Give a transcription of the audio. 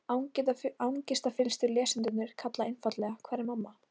Angistarfyllstu lesendurnir kalla einfaldlega: Hvar er mamma?